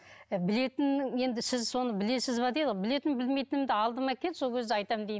білетінім енді сіз соны білесіз бе дейді ғой білетінім білмейтінімді алдыма кел сол кезде айтамын деймін